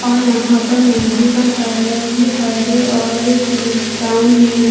और यहाँ पर मंदिर का कलर भी हरे और सील ब्राउन में है।